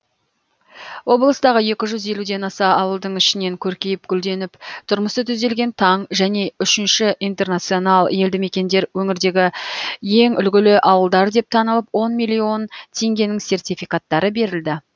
облыстағы екі жүз елуден аса ауылдың ішінен көркейіп гүлденіп тұрмысы түзелген таң және үшінші интернационал елдімекендер өңірдегі ең үлгілі ауылдар деп танылып он миллион теңгенің сертификаттары берілді